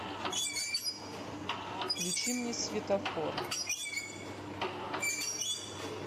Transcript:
включи мне светофор